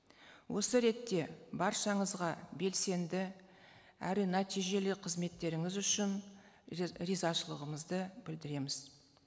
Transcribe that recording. осы ретте баршаңызға белсенді әрі нәтижелі қызметтеріңіз үшін ризашылығымызды білдіреміз